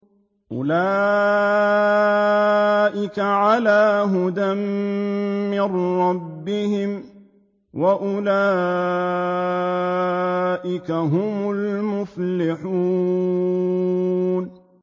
أُولَٰئِكَ عَلَىٰ هُدًى مِّن رَّبِّهِمْ ۖ وَأُولَٰئِكَ هُمُ الْمُفْلِحُونَ